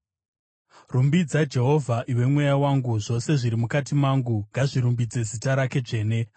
Rumbidza Jehovha, iwe mweya wangu; zvose zviri mukati mangu, ngazvirumbidze zita rake dzvene.